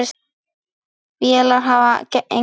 Vélar hafa engan vilja.